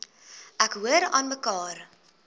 ek hoor aanmekaar